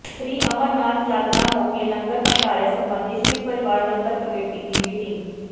ਸ੍ਰੀ ਅਮਰਨਾਥ ਯਾਤਰਾ ਮੌਕੇ ਲੰਗਰ ਭੰਡਾਰੇ ਸਬੰਧੀ ਸ਼ਿਵ ਪਰਿਵਾਰ ਲੰਗਰ ਕਮੇਟੀ ਦੀ ਮੀਟਿੰਗ